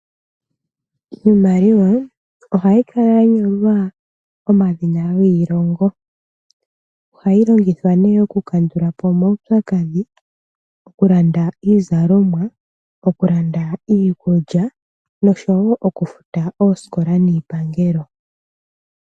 Iimaliwa ohayi kala ya nyolwa omadhina giilongo. Ohayi longithwa nee okukandula po omaupyakadhi, okulanda iizalomwa, okulanda iikulya nosho wo okufuta oosikola niipangelo.